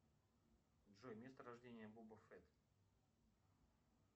джой место рождения баба фе